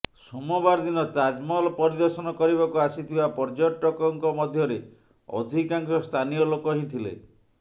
ସୋମବାର ଦିନ ତାଜମହଲ ପରିଦର୍ଶନ କରିବାକୁ ଆସିଥିବା ପର୍ଯ୍ୟଟକଙ୍କ ମଧ୍ୟରେ ଅଧିକାଂଶ ସ୍ଥାନୀୟ ଲୋକ ହିଁ ଥିଲେ